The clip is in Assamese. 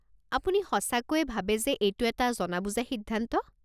আপুনি সঁচাকৈয়ে ভাবে যে এইটো এটা জনা বুজা সিদ্ধান্ত?